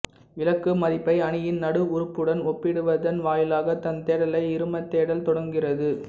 இலக்கு மதிப்பை அணியின் நடு உறுப்புடன் ஒப்பிடுவதன் வாயிலாக தன் தேடலை இருமத் தேடல் தொடங்குகிறது